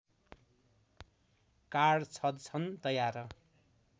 card छ्दछन् तयार